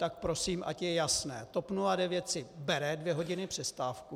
Tak prosím, ať je jasné - TOP 09 si bere dvě hodiny přestávku.